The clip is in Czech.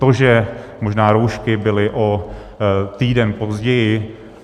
To, že možná roušky byly o týden později.